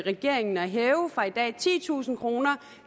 regeringen at hæve fra i dag titusind kroner